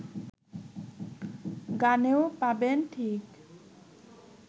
গানেও পাবেন ঠিক